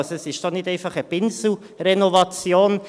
Also, es ist nicht einfach eine Pinselrenovation.